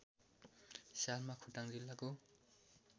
सालमा खोटाङ जिल्लाको